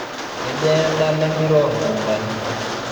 kejaa edala empira oolmukutani